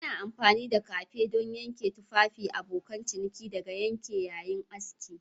Ana amfani da kafi don kare tufafin abokan ciniki daga yanke yayin aski